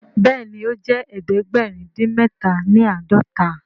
Béèni o jé ẹdẹgbẹrin odin mẹta ní ãdọta.